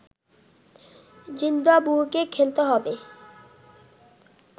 জিম্বাবুয়েকে খেলতে হবে